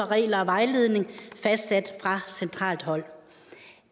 regler og vejledninger fastsat fra centralt hold